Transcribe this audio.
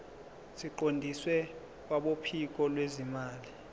siqondiswe kwabophiko lwezimali